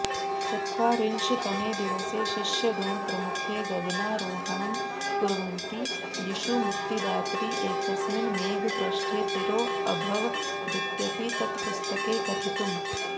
चत्वारिंशत्तमे दिवसे शिष्यगणप्रमुखे गगनारोहणं कुर्वति यीशुमुक्तिदातरि एकस्मिन् मेघपृष्ठे तिरोऽभवदित्यपि तत्पुस्तके कथितम्